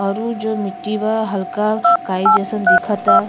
और उ जो मिटटी बा हल्का काई जैसन दिखता।